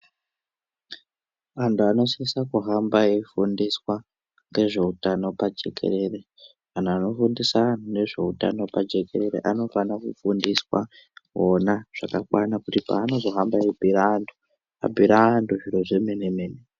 Anthu anosisa kuhamba eifundiswa ngezveutano pajekerere anhu anofundisa anhu ngezveutano pajekerere anofana kufundiswa ona zvakakwana kuti paanozohamba eibhuira anthu abhuire anthu zviro zvemene-mene.